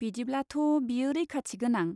बिदिब्लाथ', बेयो रैखाथि गोनां.